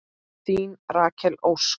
Þín Rakel Ósk.